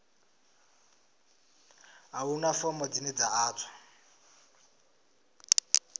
a huna fomo dzine dza ḓadzwa